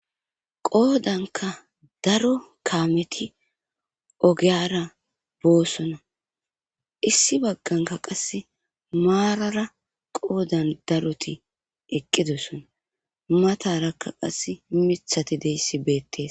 Qoodanka daro kaameti ogiyara boosona issi bagganka qasse maarara qoodan daroti eqqidossona matarakka qass mithati deyssi beettes.